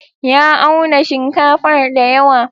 Ya auna shinkafar dayawa.